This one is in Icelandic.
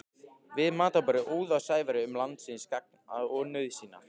Við matarborðið óð á Sævari um landsins gagn og nauðsynjar.